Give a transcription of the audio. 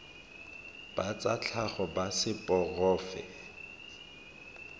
ba tsa tlhago ba seporofe